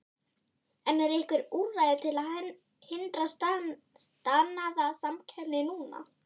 En eru einhver úrræði til að hindra staðnaða samkeppni núna?